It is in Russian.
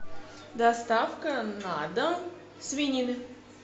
доставка на дом свинины